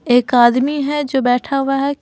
एक आदमी है जो बैठा हुआ है।